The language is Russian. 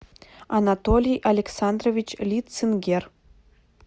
анатолий александрович лицингер